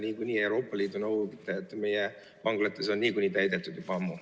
Eeldan, et Euroopa Liidu nõuded meie vanglates on niikuinii täidetud juba ammu.